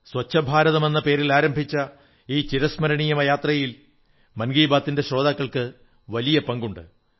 സ്വച്ഛഭാരതമെന്ന പേരിലാരംഭിച്ച ഈ ചിരസ്മരണീയമായ യാത്രയിൽ മൻ കീ ബാത്തിന്റെ ശ്രോതാക്കൾക്ക് വലിയ പങ്കുണ്ട്